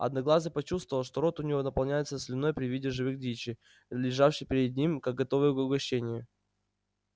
одноглазый почувствовал что рот у него наполняется слюной при виде живой дичи лежавшей перед ним как готовое угощение